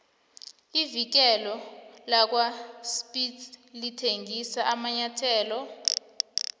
ivikile lakwaspitz lithengisa amanyathelo